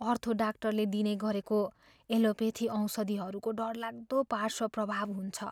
अर्थो डाक्टरले दिने गरेको एलोपेथी औषधिहरूको डरलाग्दो पार्श्व प्रभाव हुन्छ।